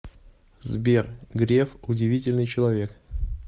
сбер греф удивительный человек